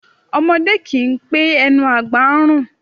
Ọmọdé kì í pé ẹnu àgbà ń rùn